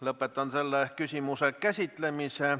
Lõpetan selle küsimuse käsitlemise.